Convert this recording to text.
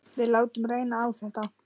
Við látum reyna á þetta.